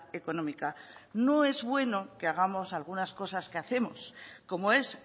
económica no es bueno que hagamos algunas cosas que hacemos como es